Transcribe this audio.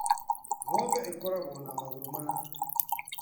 Ng'ombe ĩkoragwo na magũrũ mana.